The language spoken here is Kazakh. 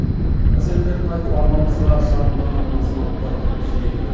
мәселелерін айтып арнамызға шағымданатын азаматтар жиі келеді